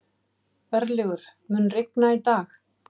Örlygur, mun rigna í dag?